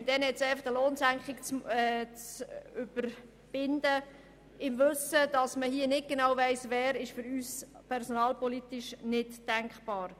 Einfach eine Lohnsenkung zu verfügen, ohne genau zu wissen, wen es betrifft, ist für uns aus personalpolitischer Sicht nicht denkbar.